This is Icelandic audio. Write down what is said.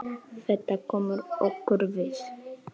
Þetta kemur okkur við.